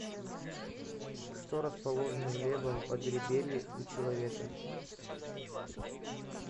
что расположено в левом подреберье у человека